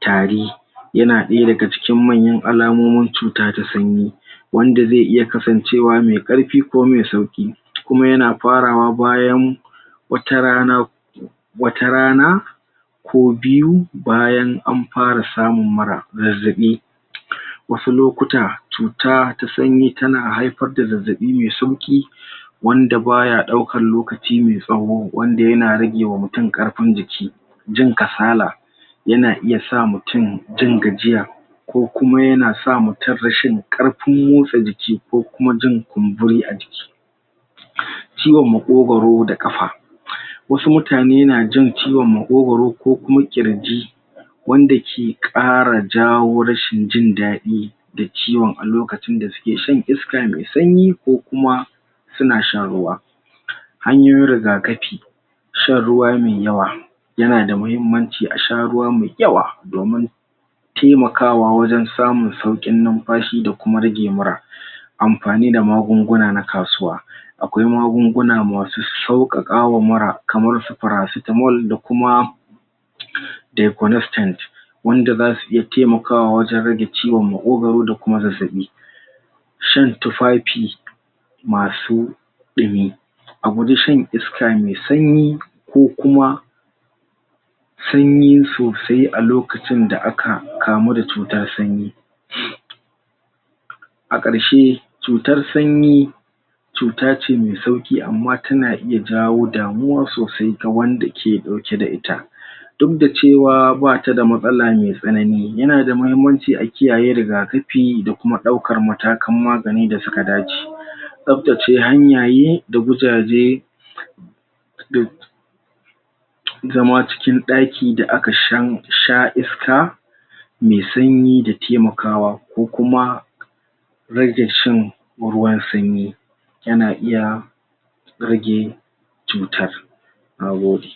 tari ya na daya da ga cikin manyan al'amomin cuta ta sanyi wanda ze iya kasancewa me karfi ko me sauki kuma ya na farawa bayan watarana watarana. Ko biyu, bayan an fara samun mura, zazabi. wasu lokuta, cuta ta sanyi ta na haifar da zazabi me sauki wanda ba ya daukan lokaci me sawo wanda ya na rage wa mutum karfin jiki. Jin kasala ya na iya sa mutum jin gajiya ko kuma ya na sa mutum rashin karfin motsa jiki ko kuma jin kunburi a jiki ciwon maƙogoro da kafa wasu mutane na jin ciwon maƙogoro ko kuma kirji wanda ke kara jawo rashin jin dadi da ciwon a lokacin da su ke shan iska me sanyi ko kuma su na shan ruwa hanyoyin rigakafi shan ruwa me yawa ya na da mahimmanci a sha ruwa me yawa domin taimakawa wajen samun saukin numfashi da kuma rage mura. Amfani da magunguna na kasuwa akwai magunguna masu saukakawa mura kamar su paracetamol da kuma wanda za su iya taimakawa wajen rage ciwon maƙogoro da kuma zazabi shan masu ɗumi. A guji shan iska me sanyi, ko kuma sanyi sosai a lokacin da aka kamu da cuta sanyi. A karshe, cutar sanyi cuta ce me sauki amma ta na iya jawo damuwa sosai ta wanda ke dauke da ita duk da cewa, ba ta da matsala me sanani, ya na da mahimmanci ce a kiyaye rigakafi da kuma dauka matakan magani da su ka dace. Sabtace hanyaye, da gujaje zama cikin daki da a ka shan sha iska me sanyi da taimakawa ko kuma rage shan ruwan sanyi ya na iya rage cutar. nagode.